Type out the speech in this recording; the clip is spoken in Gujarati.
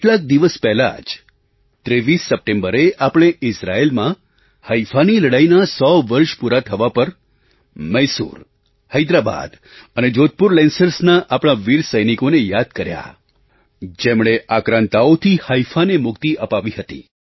કેટલાક દિવસ પહેલાં જ 23 સપ્ટેમ્બરે આપણે ઇઝરાયેલમાં હૈફા Haifaની લડાઈનાં સો વર્ષ પૂરાં થવાં પર મૈસૂર હૈદરાબાદ અને જોધપુર લેન્સર્સ Lancerasના આપણા વીર સૈનિકોને યાદ કર્યા જેમણે આક્રાંતાઓથી હૈફાને મુક્તિ અપાવી હતી